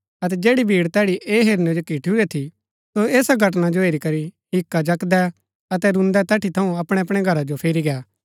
अतै जैड़ी भीड़ तैड़ी ऐह हेरनै जो किठूरै थी सो ऐसा घटना जो हेरी करी हिक्का जकदै अतै रून्दै तैठी थऊँ अपणैअपणै घरा जो फिरी गै